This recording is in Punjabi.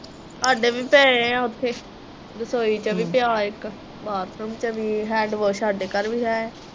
ਹਾਡੇ ਵੀ ਪਏ ਆ ਉੱਥੇ ਰਸੋਈ ਚ ਵੀ ਪਇਆ ਇਕ ਬਾਥਰੂਮ ਚ ਵੀ ਹੈਂਡਵਾਸ਼ ਹਾਡੇ ਘਰ ਵੀ ਹੈ।